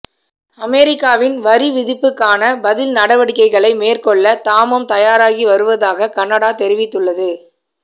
அமெரிக்காவின் வரிவிதிப்புக்கான பதில் நடவடிககைகளை மேற்கொள்ள தாமும் தயாராகி வருவதாக கனடா தெரிவித்துள்ளது